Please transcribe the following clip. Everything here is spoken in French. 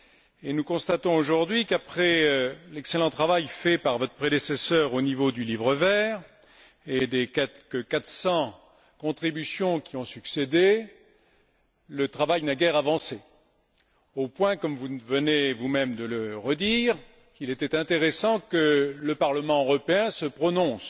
Et nous constatons aujourd'hui qu'après l'excellent travail fait par votre prédécesseur au niveau du livre vert et des quelque 400 contributions qui ont succédé, le travail n'a guère avancé, au point, comme vous venez vous même de le redire, qu'il était intéressant que le Parlement européen se prononce.